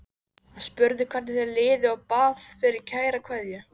Hann spurði hvernig þér liði og bað fyrir kæra kveðju.